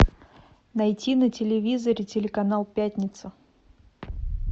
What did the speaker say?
найти на телевизоре телеканал пятница